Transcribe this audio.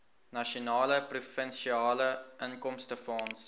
nasionale provinsiale inkomstefonds